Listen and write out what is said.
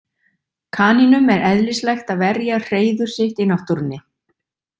Kanínum er eðlislægt að verja hreiður sitt í náttúrunni.